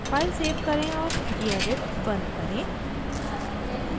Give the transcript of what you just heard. file save करें और gedit बंद करें